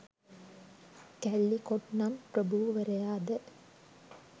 Caldecott නම් ප්‍රභූවරයාද